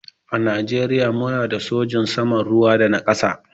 A najeriya mu na da sojin sama, ruwa da na ƙasa.